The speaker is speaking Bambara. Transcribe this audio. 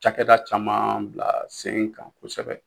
Cakɛda caman bila sen kan kosɛbɛ